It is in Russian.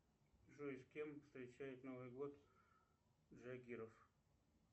джой с кем встречает новый год джангиров